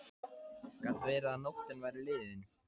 Gat verið að nóttin væri liðin?